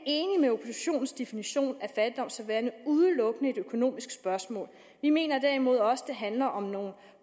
fattigdom som værende udelukkende et økonomisk spørgsmål vi mener derimod også at det handler om nogle